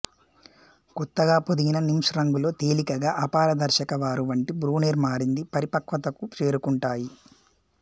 కొత్తగా పొదిగిన నిమ్ప్స్ రంగులో తేలికగా అపారదర్శక వారు వంటి బ్రోనేర్ మారింది పరిపక్వతకు చేరుకుంటాయి